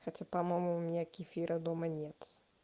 хотя по-моему у меня кефира дома нет